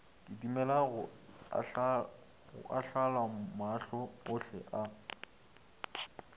kitimela go ahlolamahlo ohle a